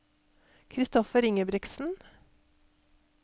Christoffer Ingebrigtsen